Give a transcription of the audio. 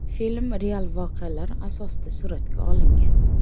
Film real voqealar asosida suratga olingan.